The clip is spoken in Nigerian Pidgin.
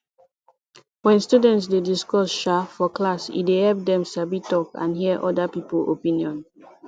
when students dey discuss um for class e dey help dem sabi talk and hear other people opinion